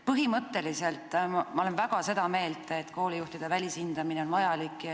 Põhimõtteliselt olen ma väga seda meelt, et koolijuhtide välishindamine on vajalik.